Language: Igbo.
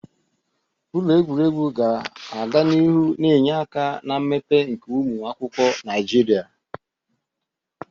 Ụlọ egwuregwu ga-aga n'ihu na-enye aka na mmepe nke ụmụ akwụkwọ Naijiria.